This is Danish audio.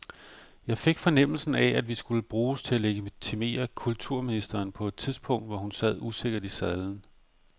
Jeg fik fornemmelsen af, at vi skulle bruges til at legitimere kulturministeren på et tidspunkt, hvor hun sad usikkert i sadlen.